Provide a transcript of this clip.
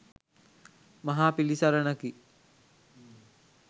මහා පිළිසරණකි